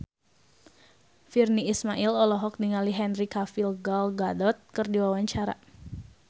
Virnie Ismail olohok ningali Henry Cavill Gal Gadot keur diwawancara